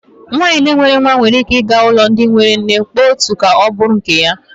Nwaanyị na enweghị nwa nwere ike ịga n'ụlọ ndị enwe nne kpọrọ otu nwa ka ọ bụrụ nke ya.